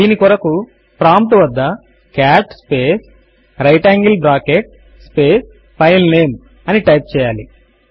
దీని కొరకు ప్రాంప్ట్ వద్ద cat space right angle bracket space filename అని టైప్ చేయాలి